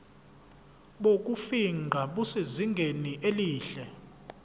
bokufingqa busezingeni elihle